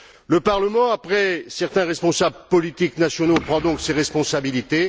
Le Parlement, après certains responsables politiques nationaux, prend donc ses responsabilités.